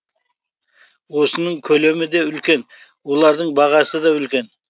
осының көлемі де үлкен олардың бағасы да үлкен